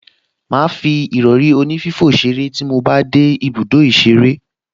Màá fi ìrọrí onífífò ṣeré tí mo bá dé ibùdó ìṣeré